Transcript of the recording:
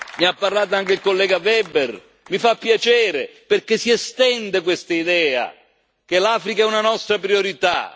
Ne ha parlato anche il collega Weber mi fa piacere, perché si sta diffondendo quest'idea che l'Africa è una nostra priorità.